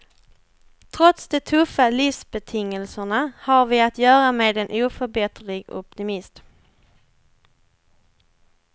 Trots de tuffa livsbetingelserna har vi att göra med en oförbätterlig optimist.